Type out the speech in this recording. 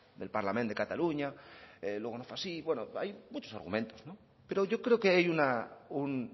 del parlament de catalunya luego no fue así bueno hay muchos argumentos pero yo creo que hay un